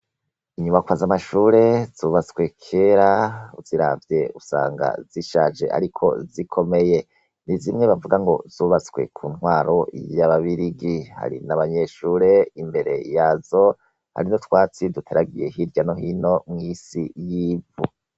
Inyubakwa z'amashure zubatswe kera uziravye usanga zishaje ariko zikomeye, nizimwe bivuga ngo zubatswe kuntwaro yaba birigi, hari n'abanyeshure bari imbere yazo, hari n'urwatsi duteragiye imbere hirya no hino mw'isi y'ivu.